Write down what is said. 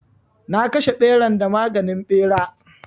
Na kashe ɓeran da maganin ɓera.